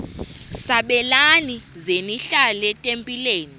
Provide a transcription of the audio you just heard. sabelani zenihlal etempileni